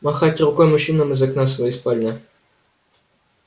махать рукой мужчинам из окна своей спальни